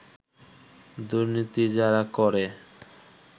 দুর্নীতি যারা করে